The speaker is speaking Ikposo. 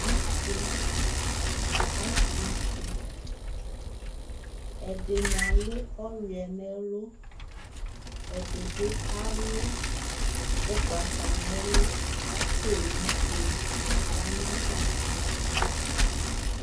Asɩ atʋ usi : ɛdɩnɩ alʋ ɔyʋɛ n'ɛlʋ , ɛdɩ bɩ alʋ ʋgbata n'ɛlʋ , k'owufue ya n'atamɩɛtʋ